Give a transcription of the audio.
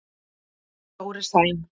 Dóri Sæm.